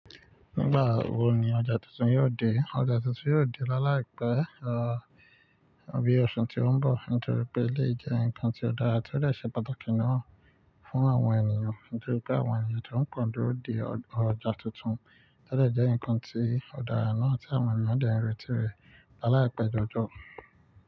Nígbà wo ni ọjà tuntun yóò dé? Ọjà tuntun yóò dé láàláìpẹ́, rọ̀ bí ọ̀ṣu tí ó ń bọ̀. Nítorí pé eléyìí jẹ́ ǹkan tí ó dára tí ó dẹ ṣe pàtàkì náà fún àwọn ènìyàn, nítorí pé àwọn ènìyàn tó pọ n duro de ọjà tuntun, tó dẹ jẹ́ ǹkan tí ó dára náà tí àwọn èèyàn dẹ n retí rẹ̀ láàláìpẹ́ jọjọ.